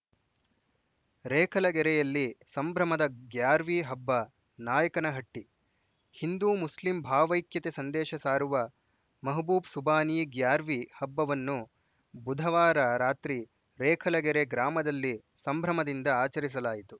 ರೇಖಲಗೆರೆಯಲ್ಲಿ ಸಂಭ್ರಮದ ಗ್ಯಾರ್ವಿ ಹಬ್ಬ ನಾಯಕನಹಟ್ಟಿ ಹಿಂದೂ ಮುಸ್ಲಿಂ ಭಾವೈಕ್ಯತೆ ಸಂದೇಶ ಸಾರುವ ಮಹಬೂಬ್‌ ಸುಬಾನಿ ಗ್ಯಾರ್ವಿ ಹಬ್ಬವನ್ನು ಬುಧವಾರ ರಾತ್ರಿ ರೇಖಲಗೆರೆ ಗ್ರಾಮದಲ್ಲಿ ಸಂಭ್ರಮದಿಂದ ಆಚರಿಸಲಾಯಿತು